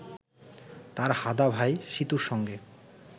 তার হাঁদা ভাই সীতুর সঙ্গে